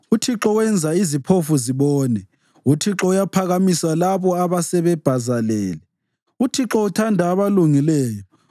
uThixo wenza iziphofu zibone, uThixo uyabaphakamisa labo asebebhazalele, uThixo uthanda abalungileyo.